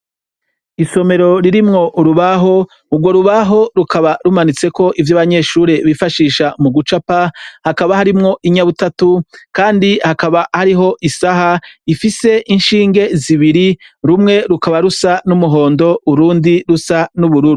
Isomero ririmwo urubaho, urwo rubaho rukaba rumanitseko ivyo abanyeshuri bifashisha mu gucapa, hakaba harimwo inyabutatu kandi hakaba hariho isaha ifise inshinge zibiri, rumwe rukaba rusa n'umuhondo urundi rusa n'ubururu.